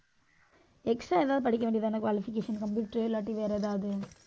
extra எதாவது படிக்க வேண்டியதுதானே qualification computer இல்லாட்டி வேற ஏதாவது